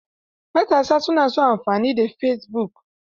Matasa na son amfani da fesibuk.